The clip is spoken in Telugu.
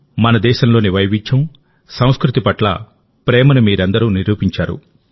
మన దేశంలోని వైవిధ్యం సంస్కృతి పట్ల ప్రేమను మీరందరూ నిరూపించారు